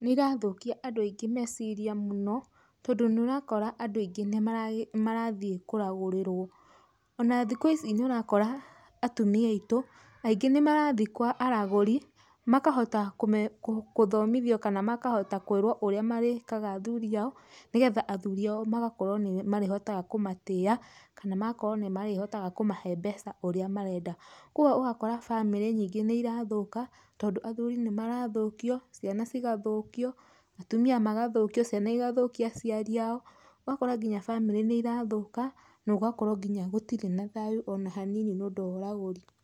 Nĩirathũkia andũ aingĩ meciria mũno tondũ nĩũrakora andũ aingĩ nĩmathiĩ kũragũrĩrwo, ona thikũ ici nĩũrakora atumia aitũ aingĩ nĩmarathii kwa araagũri, makahota kũthomithwa kana makahota kũĩrwo ũrĩa marĩkaga athuri ao nĩgetha athuri ao magakorwo nĩmarĩhotaga kũmatĩa, kana nĩmahotaga kũmahe mbeca úũĩa marenda. Kwoguo ũgakora bamĩrĩ nyingĩ nĩirathũka tondũ athuri nĩmarathũkio, ciana cikathũkio, atumia magathũkio ,ciana igathũkia aciari ao, ũgakora nginya bamĩrĩ nĩirathũka nogakorwa nginya gũtirĩ na thayu ona hanini nĩũndũ wa ũragũri.